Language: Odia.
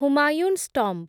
ହୁମାୟୁଁସ୍ ଟମ୍ବ୍